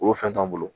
Orofɛn t'an bolo